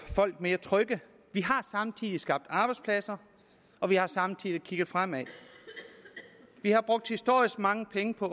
folk mere trygge vi har samtidig skabt arbejdspladser og vi har samtidig kigget fremad vi har brugt historisk mange penge på